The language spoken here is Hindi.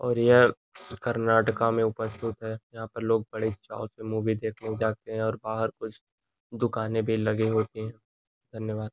और यह कर्नाटका में उपस्थित है यहाँ पे लोग बड़े चाव से मूवी देखने जाते हैं और बाहर कुछ दुकानें भी लगे होते हैं। धन्यवाद।